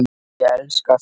Ég elska að spila.